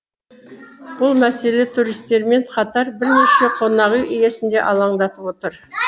бұл мәселе туристермен қатар бірнеше қонақүй иесін де алаңдатып отыр